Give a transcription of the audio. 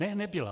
Ne, nebyla.